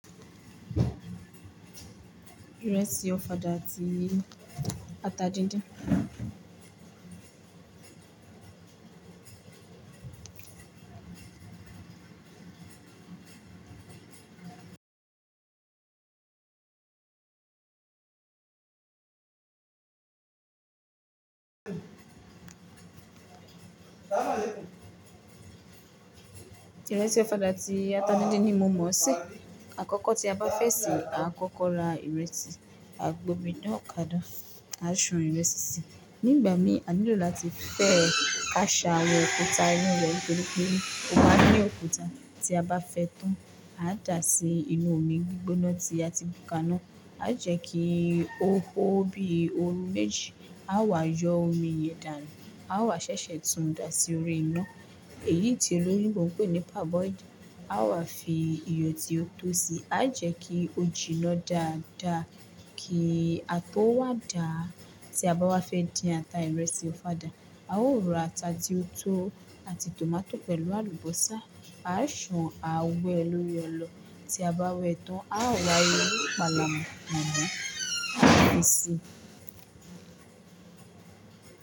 Ìrẹsì ọ̀fadà ti ata díndín. Ìrẹsì ọ̀fadà ti ata díndín ni mo mọ̀ sí. Àkọ́kọ́ tí a bá fẹ́ sè é, a kọ́kọ́ ra ìrẹsì, a gbómi nà ká na a ṣàn ìrẹsì sí. Nígbà mí a nílò láti fẹ́ ka ṣà awon ọ̀kuta inú rẹ̀ pẹ́lúpẹ́lú. Ó máa ní ọ̀kuta tí a bá fẹ́ tán. A dá sí inú omi gbígbóná tí a ti bù ka náà. A jẹ́ kí ó hó bí óru méjì. A wà yọ omi yen danu. A wà ṣẹ́ṣẹ́ túún dá sí orí iná. Èyí ti oloyinbo pe ni parboil A wà fi iyọ̀ tí ó tó sí. A jẹ́ kí ojì náà dáadáa kí a tó wá dá. Tí a bá wá fẹ́ dín ata ìrẹsì ọ̀fadà, a ó ra ata ti ó tó àti tòmátò pẹ̀lú àlùbọ́sà. A ṣàn a wẹ lórí ọlọ. Tí a bá wẹ tán, a wà yọ inú ìpalàmu mọ̀. A fi si.